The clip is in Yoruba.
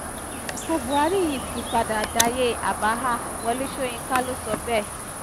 àsìkò buhari yìí ti padà dayé àbáhà wọlé sọ̀yìnkà ló sọ bẹ́ẹ̀